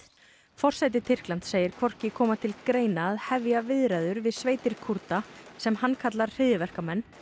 forseti Tyrklands segir hvorki koma til greina að hefja viðræður við sveitir Kúrda sem hann kallar hryðjuverkamenn